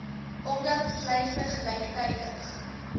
omdat sluise gelyktydig